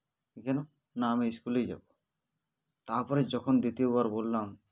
কেন না আমি school -এই যাব তারপর যখন দ্বিতীয়বার বললাম